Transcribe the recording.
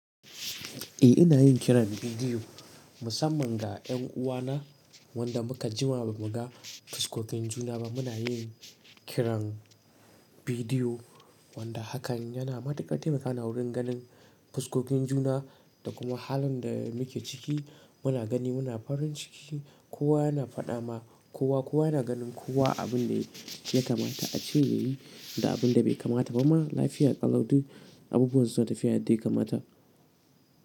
Eh ina yin kiran bidiyo musamman ga ƴan uwana wanda muka jima ba mu ga fuskokin juna ba muna yin kiran bidiyo wanda hakan yana matukar taimakawa wurin ganin fuskokin juna da kuma halin da muke ciki, muna gani muna farin ciki, kowa yana faɗa ma kowa kowa yana ganin kowa abin da ya kamata ace ya yi, da abin da bai kamata ba ma lafiya ƙalau du abubuwan suna tafiya yadda ya kamata.